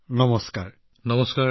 নমস্কাৰ নমস্কাৰ